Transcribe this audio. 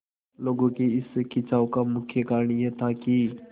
लोगों के इस खिंचाव का मुख्य कारण यह था कि